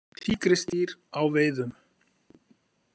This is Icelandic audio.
Tígrisdýr á veiðum.